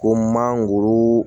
Ko manguru